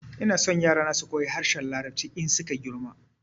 Ina so yara na su koyi harshen larabci in su ka girma